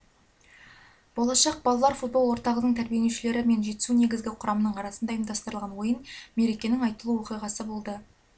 болашақ балалар футбол орталығының тәрбиеленушілері мен жетісу негізгі құрамының арасында ұйымдастырылған ойын мерекенің айтулы оқиғасы болды